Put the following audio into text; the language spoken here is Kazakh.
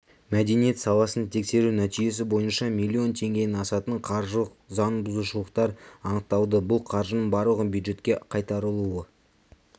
мәдениет саласын тексеру нәтижесі бойынша миллион теңгеден асатын қаржылық заңбұзушылықтар анықталды бұл қаржының барлығы бюджетке қайтарылуы